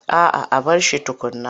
A'a a bar shi tukunna.